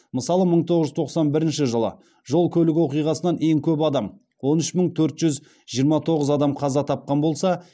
мысалы мың тоғыз жүз тоқсан бірінші жылы жол көлік оқиғасынан ең көп адам он үш мың төрт жүз жиырма тоғыз адам қаза тапқан болса